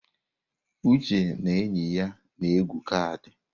Uche na enyi ya na-egwu kaadị.